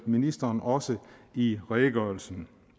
ministeren også i redegørelsen